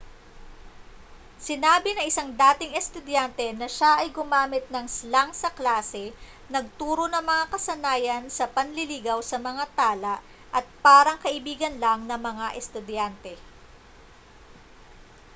sinabi ng isang dating estudyante na siya ay gumamit ng slang sa klase nagturo ng mga kasanayan sa panliligaw sa mga tala at parang kaibigan lang ng mga estudyante